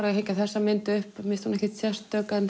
að hengja þessa mynd upp mér finnst hún ekkert sérstök